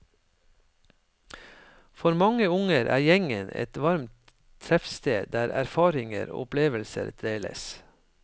For mange unge er gjengen et varmt treffsted der erfaringer og opplevelser deles.